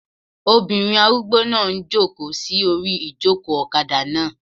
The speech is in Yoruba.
Obìnrin arúgbó náà n jòkó sí orí ìjòkó ọ̀kadà náà